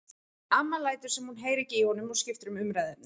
Amma lætur sem hún heyri ekki í honum og skiptir um umræðuefni.